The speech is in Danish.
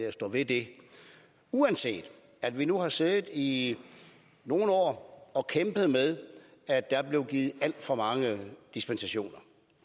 at stå ved det uanset at vi nu har siddet i nogle år og kæmpet med at der er blevet givet alt for mange dispensationer